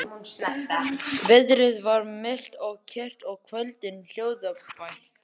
Veðrið var milt og kyrrt og kvöldið hljóðbært.